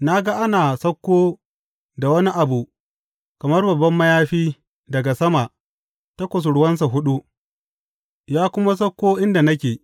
Na ga ana sauko da wani abu kamar babban mayafi daga sama ta kusurwansa huɗu, ya kuma sauko inda nake.